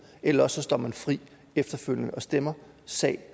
eller også står man fri efterfølgende og stemmer sag